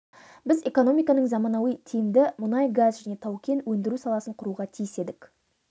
біз экономиканың заманауи тиімді мұнай-газ және тау-кен өндіру саласын құруға тиіс едік